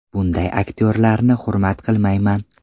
Bunday aktyorlarni hurmat qilmayman.